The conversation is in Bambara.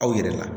Aw yɛrɛ la